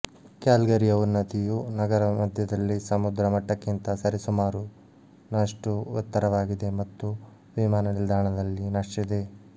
ಕ್ಯಾಲ್ಗರಿಯ ಉನ್ನತಿಯು ನಗರಮಧ್ಯದಲ್ಲಿ ಸಮುದ್ರ ಮಟ್ಟಕ್ಕಿಂತ ಸರಿಸುಮಾರು ನಷ್ಟು ಎತ್ತರವಾಗಿದೆ ಮತ್ತು ವಿಮಾನ ನಿಲ್ದಾಣದಲ್ಲಿ ನಷ್ಟಿದೆ